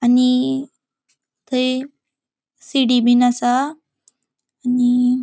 आणि थय सीडी बिन आसा आनि -----